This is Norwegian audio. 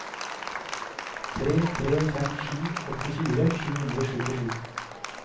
tre tre fem sju åttifire sju hundre og syttisju